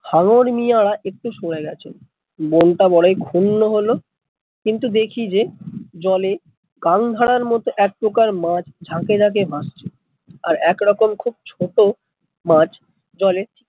হাঙ্গর মিয়া একটু সরে গেছে, মন টা বড়ই ক্ষুন্ন হল, কিন্তু দেখি যে জলে কালধারার মতো এক প্রকার মাছ ঝাঁকে ঝাঁকে ভাসছে, আর এক রকম খুব ছোট মাছ